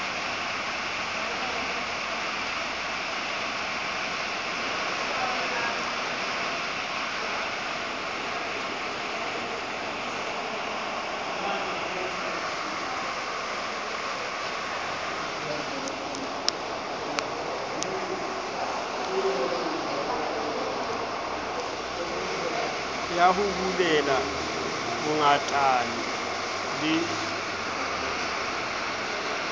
ya ho bulela bongatane le